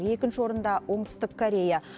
екінші орында оңтүстік корея